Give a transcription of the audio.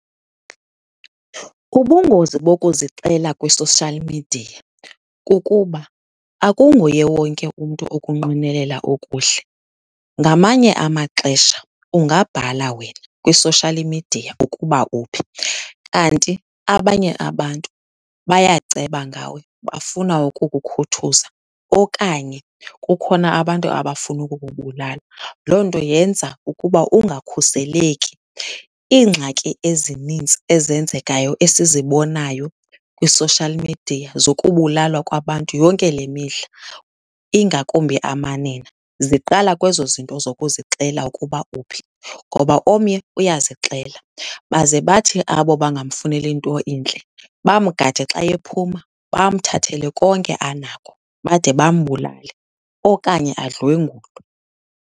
Ubungozi bokuzixela kwi-social media kukuba akunguye wonke umntu okunqwenelela okuhle. Ngamanye amaxesha ungabhala wena kwi-social media ukuba uphi kanti abanye abantu bayaceba ngawe bafuna ukukukhuthuza okanye kukhona abantu abafuna ukukubulala. Loo nto yenza ukuba ungakhuseleki. Iingxaki ezininzi ezenzekayo esizibonayo kwi-social media zokubulalwa kwabantu yonke le mihla, ingakumbi amanina, ziqala kwezo zinto zokuzixela ukuba uphi. Ngoba omnye uyazixela, baze bathi abo bangamfuneli nto intle bamgade xa ephuma, bamthathele konke anako bade bambulale okanye adlwengulwe.